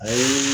O ye